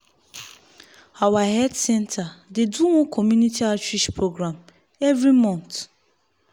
our health center dey do one community outreach program every month